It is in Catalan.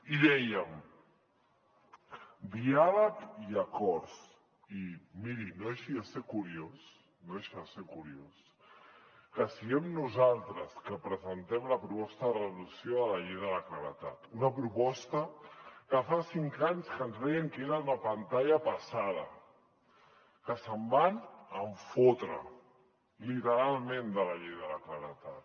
i dèiem diàleg i acords i miri no deixa de ser curiós que siguem nosaltres que presentem la proposta de resolució de la llei de la claredat una proposta que fa cinc anys que ens deien que era una pantalla passada que se’n van fotre literalment de la llei de la claredat